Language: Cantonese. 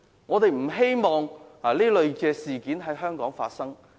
我們不希望這類事件在香港發生。